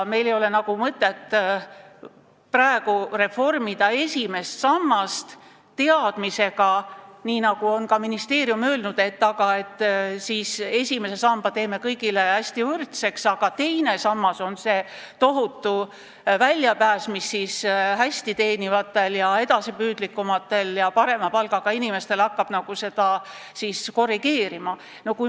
Meil ei ole mõtet praegu reformida esimest sammast teadmisega, nagu on ka ministeerium öelnud, et teeme esimese samba kõigile hästi võrdseks ja teine sammas on suurepärane väljapääs, mis kergendab hästi teenivate ja edasipüüdlike inimeste olukorda, kui nad pensionil on.